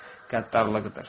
Qəddarlıqdır.